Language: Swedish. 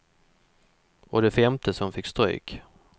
Och det femte som fick stryk.